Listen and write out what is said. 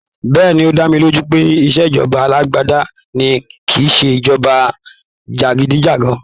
Bẹ́ẹ̀ni, ó dá mi lójú pé ìṣèjọba alágbádá ni kìíse ìṣèjọba jàgídíjàgan